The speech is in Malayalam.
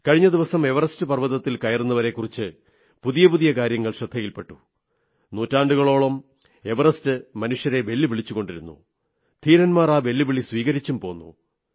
കഴിഞ്ഞ ദിവസം എവറസ്റ്റ് പർവ്വതത്തിൽ കയറുന്നവരെക്കുറിച്ച് പുതിയ പുതിയ കാര്യങ്ങൾ ശ്രദ്ധയിൽ പെട്ടു നൂറ്റാണ്ടുകളോളം എവറസ്റ്റ് മനുഷ്യരെ വെല്ലുവിളിച്ചുകൊണ്ടിരുന്നു ധീരന്മാർ ആ വെല്ലുവിളി സ്വീകരിച്ചും പോന്നു